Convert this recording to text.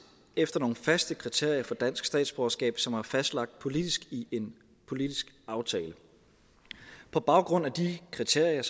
efter nogle faste kriterier for dansk statsborgerskab som er fastlagt politisk i en politisk aftale på baggrund af de kriterier